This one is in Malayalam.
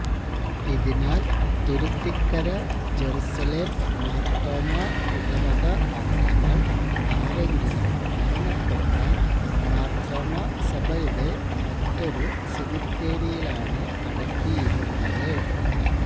ഇതിനാൽ തുരുത്തികര ജെറുസലേം മാർത്തോമാ ഇടവക അംഗങ്ങൾ ആരെങ്കിലും മരണപ്പെട്ടാൽ മാർത്തോമ സഭയുടെ മറ്റൊരു സെമിത്തേരിയിലാണ് അടക്കിയിരുന്നത്